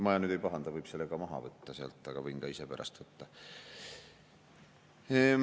Ma nüüd ei pahanda, võib selle maha võtta sealt, aga võin ka ise pärast võtta.